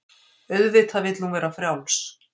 Auðvitað vill hún vera frjáls.